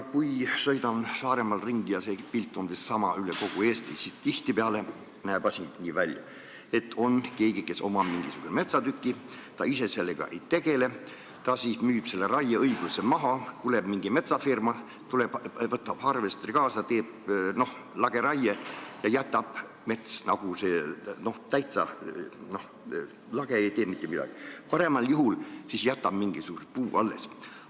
Kui sõidan Saaremaal ringi – see pilt on umbes sama üle kogu Eesti –, siis tihtipeale paistab nii, et keegi, kellel on mingisugune metsatukk ja kes ise sellega ei tegele, müüb selle raieõiguse maha, siis tuleb mingi metsafirma, võtab harvesteri kaasa, teeb lageraie ja kõik on siis täitsa lage, paremal juhul jäetakse mingisugune puu alles.